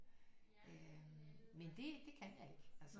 Øh men det det kan jeg ikke altså nej